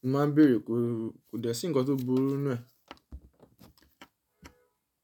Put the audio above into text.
mo máa ń bèèrè kí ó dẹ̀ sí ǹkan tó burú ninu ẹ.